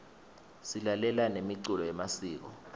silalela nemiculo yemasiko